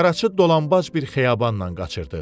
Qaraçı dolanbac bir xiyabanla qaçırdı.